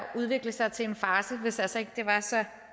udvikle sig til en farce hvis altså ikke det var så